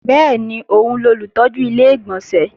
Bẹ́ẹ̀ni, òun lolùtọ́jú Ilé-ìgbọ̀nsẹ̀